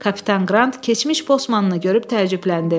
Kapitan Qrant keçmiş bossmannı görüb təəccübləndi.